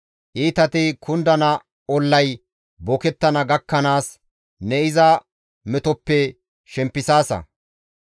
Iitati kundana ollay bookettana gakkanaas, ne iza metoppe shempisaasa.